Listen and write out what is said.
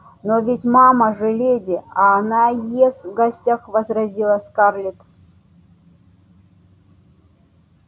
но ведь мама же леди а она ест в гостях возразила скарлетт